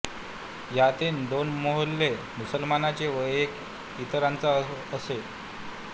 यातील दोन मोहल्ले मुसलमानांचे व एक इतरांचा असे होते